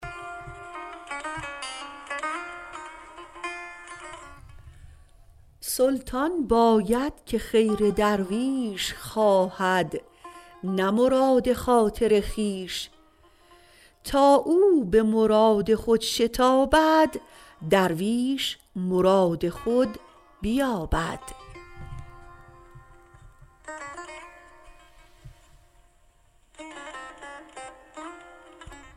سلطان باید که خیر درویش خواهد نه مراد خاطر خویش تا او به مراد خود شتابد درویش مراد خود بیابد